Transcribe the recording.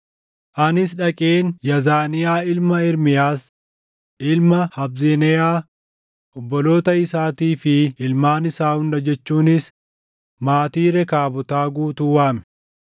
Anis dhaqeen Yaazaniyaa ilma Ermiyaas, ilma Habazneyaa, obboloota isaatii fi ilmaan isaa hunda jechuunis maatii Rekaabotaa guutuu waame.